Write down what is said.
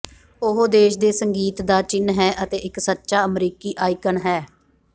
ਉਹ ਦੇਸ਼ ਦੇ ਸੰਗੀਤ ਦਾ ਚਿੰਨ੍ਹ ਹੈ ਅਤੇ ਇੱਕ ਸੱਚਾ ਅਮਰੀਕੀ ਆਈਕਨ ਹੈ